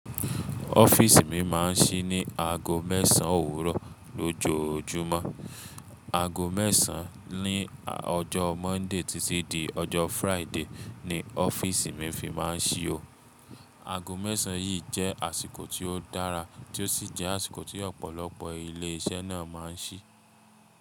Ọ́fíìsì mi máa ń ṣí ní aago mẹ́sàn-án òwúrọ̀ lójoojúmọ́. Aago mẹ́sàn-án ní ọjọ́ Monday títí di ọjọ́ Friday ni ọ́fíìsì mi fi máa ń ṣí o. Aago mẹ́sàn-án yìí jẹ́ àsìkò tí ó dára tí ó sì jẹ́ àsìkò tí ọ̀pọ̀lọpọ̀ ilé iṣẹ́ náà máa ń ṣí.